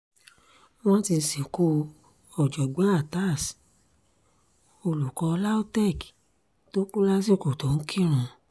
wọ́n ti sìnkú ọ̀jọ̀gbọ́n atass olùkọ́ lautech tó kù lásìkò tó ń kírun